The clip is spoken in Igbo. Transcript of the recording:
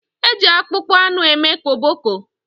Eji akpụkpọanụ eme koboko.